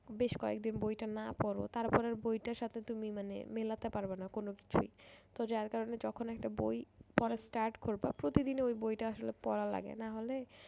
বেশ কয়েকদিন বইটা না পারো তারপরে বইটার সাথে তুমি মানে মিলাতে পারবে না কোন কিছুই তো যার কারণে যখন একটা বই পড়ার start করবা প্রতিদিনই ওই বইটা আসলে পড়া লাগে নাহলে